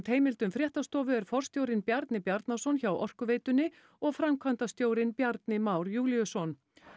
heimildum fréttastofu er forstjórinn Bjarni Bjarnason hjá Orkuveitunni og framkvæmdastjórinn Bjarni Már Júlíusson